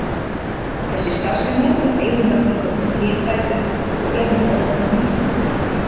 Þessi starfsemi er einu nafni kölluð kynbætur og er nú orðin vísindagrein.